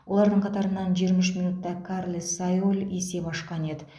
олардың қатарынан жиырма үш минутта карлес сайоль есеп ашқан еді